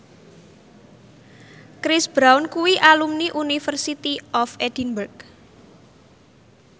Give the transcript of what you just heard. Chris Brown kuwi alumni University of Edinburgh